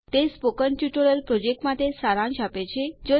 તે spoken tutorial project માટે સારાંશ છે